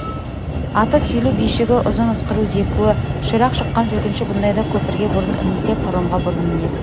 аты күйлі бишігі ұзын ысқыру зекуі ширақ шыққан жүргінші бұндайда көпірге бұрын ілінсе паромға бұрын мінеді